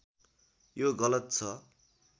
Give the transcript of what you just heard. यो गलत छ